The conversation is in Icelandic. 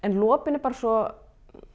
lopinn er bara svo